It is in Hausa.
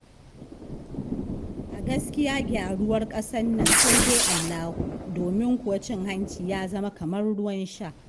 A gaskiya gyaruwar ƙasar na sai dai Allahu, domin kuwa cin hanci ya zama kamar ruwan sha.